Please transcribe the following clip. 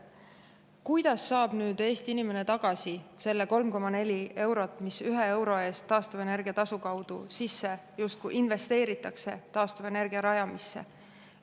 Kuidas saab Eesti inimene tagasi selle 3,4 eurot, mis ühe euro eest taastuvenergia tasu kaudu justkui investeeritakse taastuvenergia rajamisse?